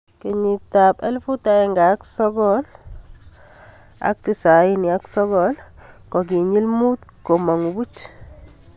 Kenyit ab 1999, kokinyil mut komangu puch.